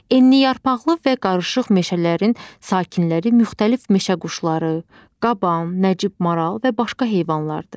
Enliyarpaqlı və qarışıq meşələrin sakinləri müxtəlif meşə quşları, qaban, nəcib maral və başqa heyvanlardır.